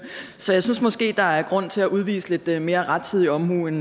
så jeg synes måske at der er grund til at udvise lidt lidt mere rettidig omhu end